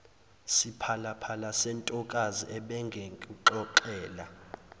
siphalaphala sentokazi ebengikuxoxela